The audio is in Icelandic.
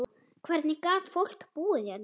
Hvernig gat fólk búið hérna?